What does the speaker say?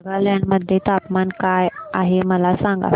नागालँड मध्ये तापमान काय आहे मला सांगा